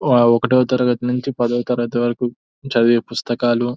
ఆ ఒకటో తరగతి నుంచి పదో తరగతి వరకు చదివే పుస్తకాలు --